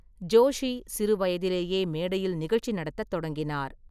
ஜோஷி சிறு வயதிலேயே மேடையில் நிகழ்ச்சி நடத்தத் தொடங்கினார்.